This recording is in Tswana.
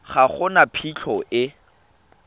ga go na phitlho e